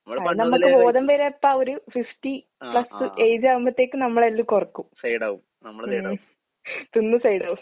അത് നമ്മക്ക് ബോധം വര എപ്പ? ഒരു ഫിഫ്റ്റി പ്ലസ് ഏജ് ആകുമ്പത്തേക്ക് നമ്മളതില് കൊറക്കും. ഉം. തിന്ന് സൈഡാവും.